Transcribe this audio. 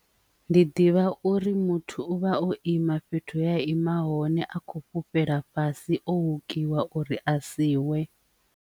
Ndi ḓivha uri muthu u vha o ima fhethu ya ima hone a kho fhufhela fhasi o hukiwa uri a siwe.